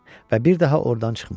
Və bir daha ordan çıxmırdı.